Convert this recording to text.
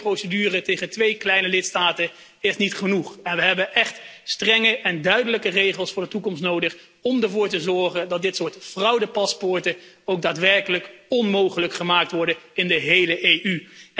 Maar een inbreukprocedure tegen twee kleine lidstaten is niet genoeg! We hebben echt strenge en duidelijke regels voor de toekomst nodig om ervoor te zorgen dat dit soort fraudepaspoorten ook daadwerkelijk onmogelijk gemaakt worden in de hele EU.